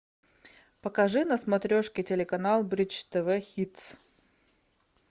покажи на смотрешке телеканал бридж тв хитс